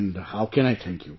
And how can I thank you